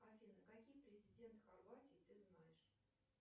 афина какие президент хорватии ты знаешь